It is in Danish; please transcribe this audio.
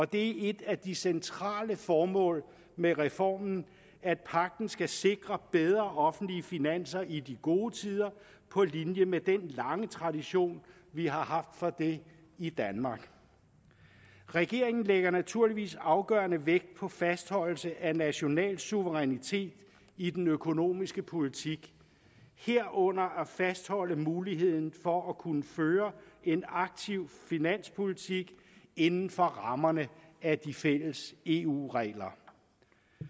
det er et af de centrale formål med reformen at pagten skal sikre bedre offentlige finanser i de gode tider på linje med den lange tradition vi har haft for det i danmark regeringen lægger naturligvis afgørende vægt på fastholdelse af national suverænitet i den økonomiske politik herunder at fastholde muligheden for at kunne føre en aktiv finanspolitik inden for rammerne af de fælles eu regler